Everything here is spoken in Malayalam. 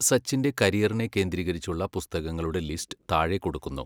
സച്ചിന്റെ കരിയറിനെ കേന്ദ്രീകരിച്ചുള്ള പുസ്തകങ്ങളുടെ ലിസ്റ്റ് താഴെ കൊടുക്കുന്നു.